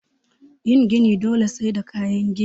Yin gini dole sai da kayan gini